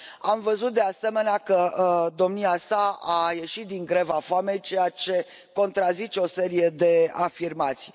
Am văzut de asemenea că domnia sa a ieșit din greva foamei, ceea ce contrazice o serie de afirmații.